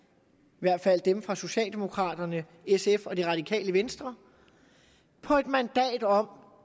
hvert fald dem fra socialdemokraterne sf og det radikale venstre på et mandat om